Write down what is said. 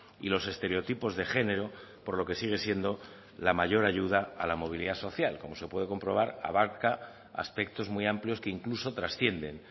y los estereotipos de género por lo que sigue siendo la mayor ayuda a la movilidad social como se puede comprobar abarca aspectos muy amplios que incluso trascienden